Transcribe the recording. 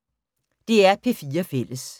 DR P4 Fælles